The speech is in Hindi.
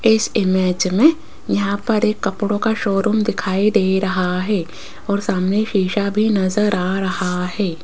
इस इमेज में यहां पर एक कपड़ों का शोरूम दिखाई दे रहा है और सामने शीशा भी नजर आ रहा है।